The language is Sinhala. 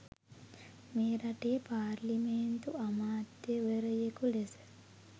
මේ රටේ පාර්ලිමේන්තු අමාත්‍යවරයකු ලෙස